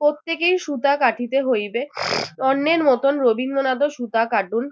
প্রত্যেকেই সূতা কাটিতে হইবে অন্যের মতোন রবীন্দ্রনাথও সূতা কাটুন